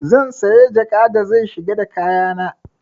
Zan saya jaka da zai shiga da kaya na.